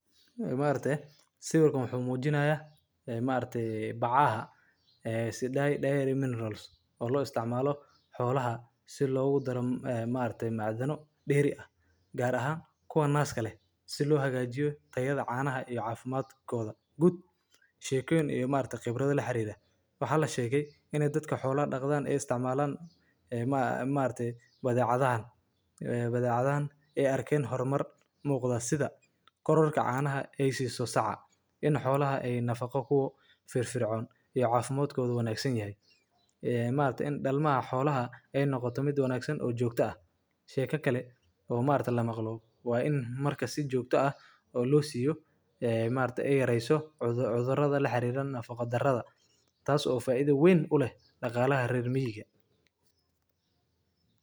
Ee maragte Sawirkan wuxuu mujinaya ee Maaragte si , eh, maarte bacaaha, eh, sidaa dhahay diary minerals, oo lo isticmaalo xoolaha si loogu daro, eh, maarta macdano dheeri ah gaar ahaan kuwa naas kale si loo hagaajiyo tayada caanaha iyo caafimaadkooda. Gud shiikayn iyo maarta khibrada la xiriirah. Waxaa la sheegay inaad dadka xoolaan akhdaan ee isticmaalaan, eh, maa-maarte badiicadahan, eh, badiicadahan ee arkeen horumar muuqda sida: Kororka caanaha ay siiso saca; In xoolaha ay nafaqo kuu firfircoon iyo caafimaadkoodu wanaagsan yahay, eh, maanta in dhalma ah xoolaha ay noqotumid wanaagsan oo joogto ah; Sheka kale oo maarta la maqluub waa in marka si joogto ah oo loo siiyo, eh, maarta ay yeeraiso cudo-cudurrada la xiriiran nafaqo-darrada taas oo faaiido weyn u leh dhaqaale harereer miyiga.